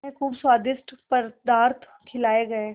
उन्हें खूब स्वादिष्ट पदार्थ खिलाये गये